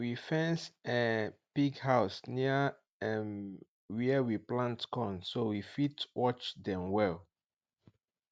we fence um pig house near um where we plant corn so we fit watch dem well